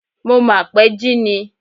Mo mà pẹ́ jí ni.